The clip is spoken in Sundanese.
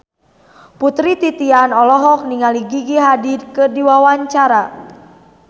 Putri Titian olohok ningali Gigi Hadid keur diwawancara